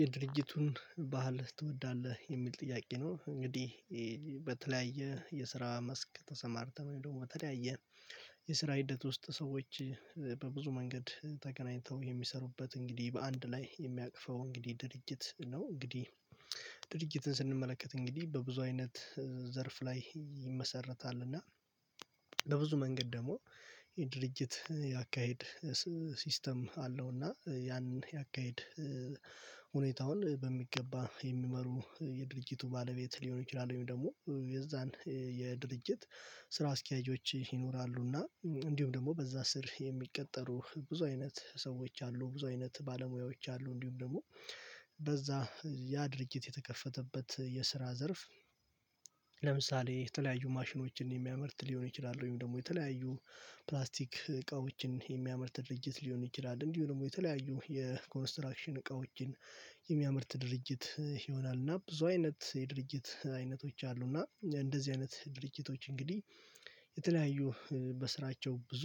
የድርጅቱን ባህል ትወዳለህ? የሚል ጥያቄ ነው እንግዲህ በተለያየ የስራ መስክ ተሰማርተን ወይም ደግሞ በተለያየ የስራ ሂደት ውስጥ ሰዎች በብዙ መንገድ ተገናኝተው የሚሰሩበት እንግዲህ በአንድ ላይ የሚያቅፈው እንግዲህ ድርጅት ነው እንግዲህ ድርጅትን ስንመለከት እንግዲህ በብዙ አይነት ዘርፍ ላይ ይመሰረታልና በብዙ መንገድ ደግሞ የድርጅት ያካሄድ ሲስተም አለውና ያን ያካሄድ ሁኔታውን በሚገባ የሚመሩ የድርጅቱ ባለቤት ሊሆን ይችላል ወይም ደግሞ የዛን የድርጅት ስራ አስኪያጆች ይኖራሉና እንዲሁም ደግሞ በዛ ስር የሚቀጠሩ ብዙ አይነት ሰዎች አሉ ብዙ አይነት ባለሙያዎች አሉ እንዲሁም ደግሞ በዛ ያ ድርጅት የተከፈተበት የስራ ዘርፍ ለምሳሌ የተለያዩ ማሽኖችን የሚያመርት ሊሆን ይችላል ወይም ደግሞ የተለያዩ ፕላስቲክ እቃዎችን የሚያምርት ድርጅት ሊሆን ይችላል እንዲሁ ደግሞ የተለያዩ የኮንስትራክሽን እቃዎችን የሚያመርት ድርጅት ይሆናል እና ብዙ አይነት የድርጅት አይነቶች አሉ እና እንደዚህ አይነት ድርጅቶች እንግዲህ የተለያዩ በስራቸው ብዙ